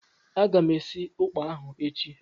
Aga m esi ụkpà ahụ echi.